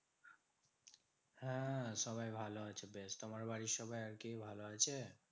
হ্যাঁ সবাই ভালো আছে বেশ। তোমার বাড়ির সবাই আর কি ভালো আছে?